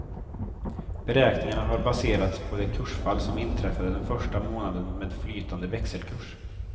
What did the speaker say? Beräkningarna har baserats på det kursfall som inträffade den första månaden med flytande växelkurs.